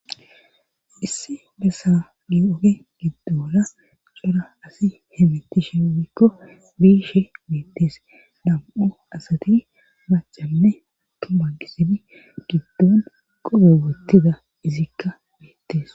Isse bessa ni oge giddola cora asi hemetishe mikko biishe meettees dam7u asati macanne atuma gisebi giddon qorogettida izikka beettees